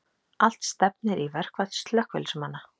Allt stefnir í verkfall slökkviliðsmanna